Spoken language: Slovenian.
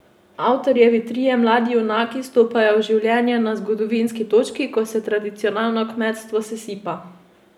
Avtorjevi trije mladi junaki stopajo v življenje na zgodovinski točki, ko se tradicionalno kmetstvo sesipa.